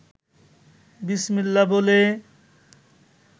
বিসমিল্লাহ বলে